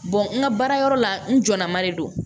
n ka baarayɔrɔ la n jɔla ma de don